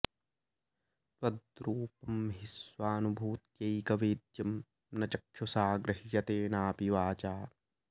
त्वद्रूपं हि स्वानुभूत्यैकवेद्यं न चक्षुषा गृह्यते नापि वाचा